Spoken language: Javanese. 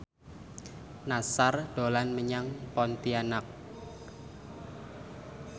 Nassar dolan menyang Pontianak